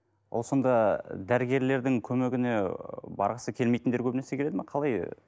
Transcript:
ол сонда дәрігерлердің көмегіне барғысы келмейтіндер көбінесе келеді ме қалай ы